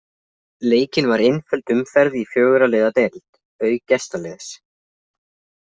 Leikin var einföld umferð í fjögurra liða deild, auk gestaliðs